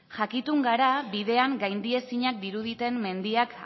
jakitun gara bidean gaindiezinak diruditen mendiak